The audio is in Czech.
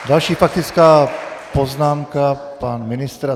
Další faktická poznámka, pan ministr.